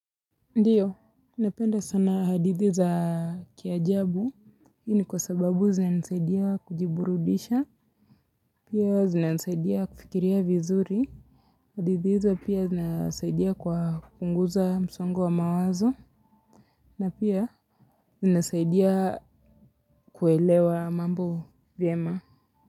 Ndiyo, napenda sana hadithi za kiajabu. Hiini kwa sababu zinasaidia kujiburudisha. Pia zinasaidia kufikiria vizuri. Hadithi hizo pia zinasaidia kwa kupunguza msongo wa mawazo. Na pia zinasaidia kuelewa mambo vyema.